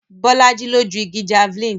Bolaji ló ju igi Javeline